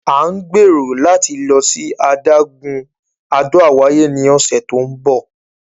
À ń gbẹ̀rò láti lọ sí adágún Àdó Àwáyé ní ọ̀sẹ̀ tí ó ńbọ̀.